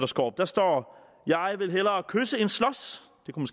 skaarup der står jeg vil hellere kysse end slås det kunne